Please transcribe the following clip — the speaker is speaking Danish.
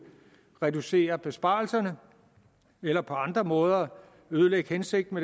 reducere besparelserne eller på andre måder ødelægge hensigten